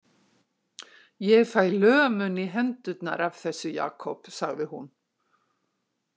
Ég fæ lömun í hendurnar af þessu, Jakob, sagði hún.